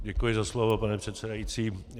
Děkuji za slovo, paní předsedající.